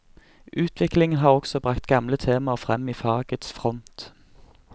Utvikling har også bragt gamle temaer frem i fagets front.